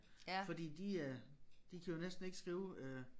Fordi de øh de kan jo næsten ikke skrive øh